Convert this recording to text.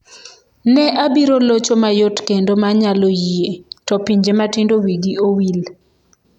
"""Ne abiro locho mayot kendo ma nyalo yie (to pinje matindo wigi owil)!"""